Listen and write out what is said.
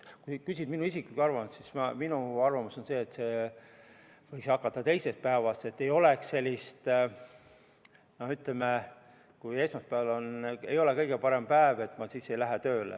Kui sa küsid minu isiklikku arvamust, siis minu arvamus on see, et maksmine võiks hakata teisest päevast, et ei oleks sellist suhtumist, et kui esmaspäev ei ole kõige parem päev, siis ma ei lähe tööle.